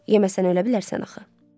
Yeməsən ölə bilərsən axı.